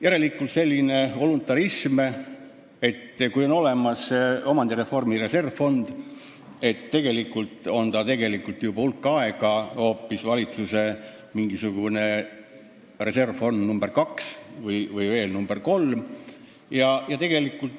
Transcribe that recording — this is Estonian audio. See on nagu mingi voluntarism, et kui on olemas omandireformi reservfond, siis tegelikult on see hulk aega hoopis valitsuse reservfond nr 2 või nr 3.